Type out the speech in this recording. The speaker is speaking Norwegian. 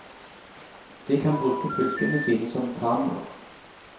De kan bruke pulkene sine som kanoer.